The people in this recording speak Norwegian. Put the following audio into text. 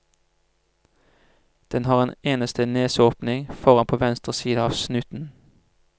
Den har en eneste neseåpning, foran på venstre side av snuten.